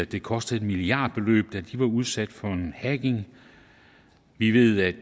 det kostede et milliardbeløb da de var udsat for hacking vi ved at